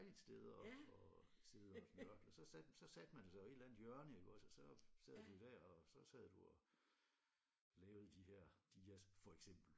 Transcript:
Dejligt sted og og sidde og nørkle så satte så satte man sig i et eller andet hjørne ikke også og så sad du der og så sad du der og så sad du og lavede de her dias for eksempel